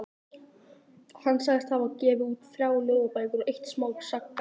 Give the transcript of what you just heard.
Hann sagðist hafa gefið út þrjár ljóðabækur og eitt smásagnasafn.